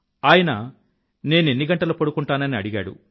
ఆయన నేనెన్ని గంటలు పడుకుంటానని అడిగాడు